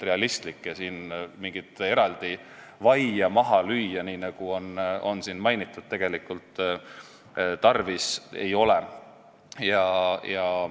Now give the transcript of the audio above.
Siin mingit eraldi vaia maha lüüa, nagu on mainitud, tegelikult tarvis ei ole.